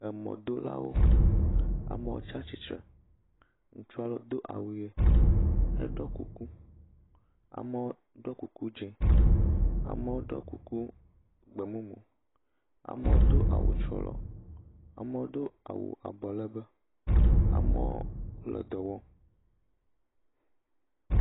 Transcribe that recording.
Emɔdolawo. Amewo tsa tsitsre. Ŋutsua aɖewo do awu ʋe heɖiɔ kuku. Amewo ɖɔ kuku dzẽ. Amewo ɖɔ kuku gbemumu. Amewo do awu tsrɔlɔ. Amewo do awu abɔlɛgbɛ. Amewo le dɔ wɔm.